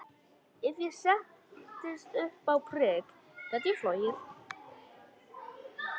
Ef ég settist upp á prik gæti ég flogið.